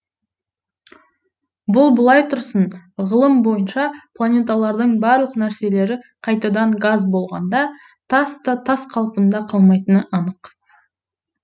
бұл былай тұрсын ғылым бойынша планеталардың барлық нәрселері қайтадан газ болғанда тас та тас қалпында қалмайтыны анық